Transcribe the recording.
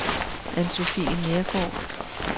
Ann-Sofie Neergaard